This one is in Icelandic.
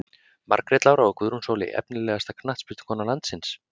Margrét Lára og Guðrún Sóley Efnilegasta knattspyrnukona landsins?